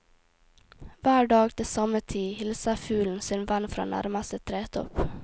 Hver dag til samme tid hilser fuglen sin venn fra nærmeste tretopp.